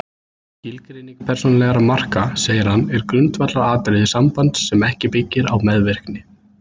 Skilgreining persónulegra marka, segir hann, er grundvallaratriði sambands sem ekki byggir á meðvirkni.